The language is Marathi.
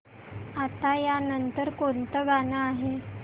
आता या नंतर कोणतं गाणं आहे